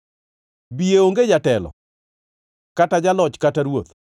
Biye onge jatelo kata jaloch kata ruoth,